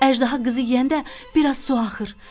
Əjdaha qızı yeyəndə biraz su axır.